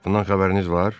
Bundan xəbəriniz var?